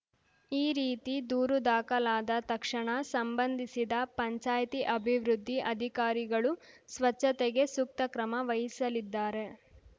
ಈ ರೀತಿ ದೂರು ದಾಖಲಾದ ತಕ್ಷಣ ಸಂಬಂಧಿಸಿದ ಪಂಚಾಯ್ತಿ ಅಭಿವೃದ್ಧಿ ಅಧಿಕಾರಿಗಳು ಸ್ವಚ್ಛತೆಗೆ ಸೂಕ್ತ ಕ್ರಮ ವಹಿಸಲಿದ್ದಾರೆ